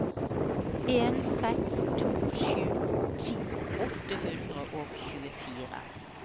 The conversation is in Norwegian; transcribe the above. en seks to sju ti åtte hundre og tjuefire